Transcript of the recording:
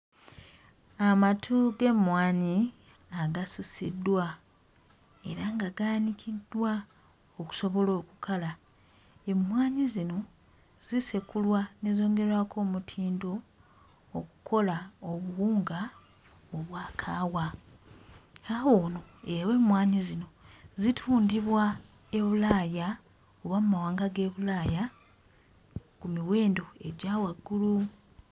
Amatu g'emmwanyi agasusiddwa era nga gaanikiddwa okusobola okukala. Emmwanyi zino zisekulwa ne zongerwako omutindo okkola obuwunga obwa kaawa. Kaawa ono ow'emmwanyi zino zitundibwa e Bulaaya oba mmawanga g'e Bulaaya ku miwendo egya waggulu.